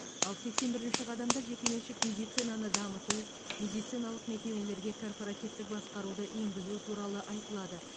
ал сексен бірінші қадамда жекеменшік медицинаны дамыту медициналық мекемелерге корпоративтік басқаруды енгізу туралы айтылады